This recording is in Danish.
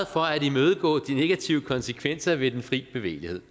for at imødegå de negative konsekvenser ved den fri bevægelighed